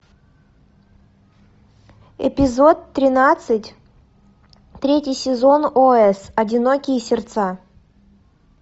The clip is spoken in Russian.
эпизод тринадцать третий сезон ос одинокие сердца